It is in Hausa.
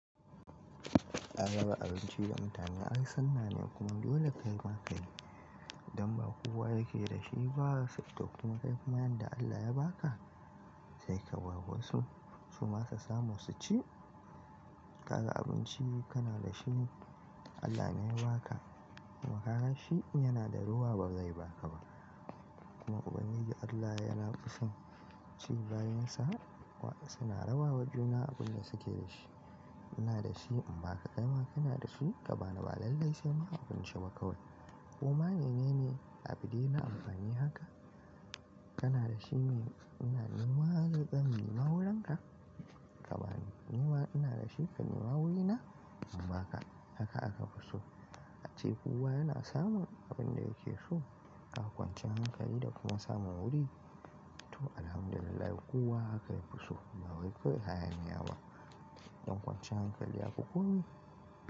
Raba abinci da mutane ai sunnane kuma dole kai ma kayi, dan ba kowa yake da shi ba sai ka tafi kuma kai kuma yanda Allah ya ba ka sai ka ba wasu su ma su samu su ci. Kaga abinci kana da shi Allah ne ya ba ka, kuma ka ga shi in yana da rowa ba zai ba ka ba kuma Ubangiji Allah yana kusan ci bayinsa waɗanda suna rawa wa juna abin da suke da shi. Ina da shi imba kai ma kana da shi ka ba ni ba lallai sai ma abinci ba kawai, koma menene a bude na amfani haka? Kana da shi ina nima zan nema wurinka ka ba ni nima ina da shi ka nima wurina imbaka haka aka fi so. A ce kowa yana samun abin da yake so ga kwanciyan hankali da kuma samun wuri. To, Alhamdulillah kowa haka yafi so ba wai kawai hayaniyaba ɗan kwanciyar hankali yafi komi.